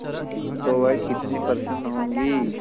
तो वह कितनी प्रसन्न होंगी